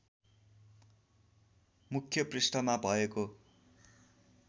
मुख्य पृष्ठमा भएको